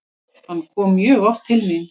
Hann kom mjög oft til mín.